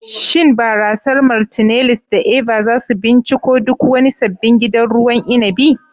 Shin barasar "Martineliss" da "Eva" za su binciko duk wani sabbin gidan ruwan inabi.